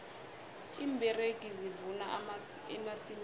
iimberegi zivuna emasimini